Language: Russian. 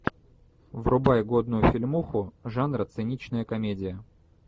врубай годную фильмуху жанра циничная комедия